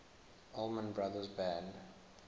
allman brothers band